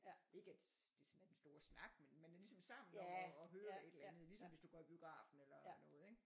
Ikke at det sådan er den store snak men man er ligesom sammen om at høre et eller andet ligesom hvis du går i biografen og sådan noget ikke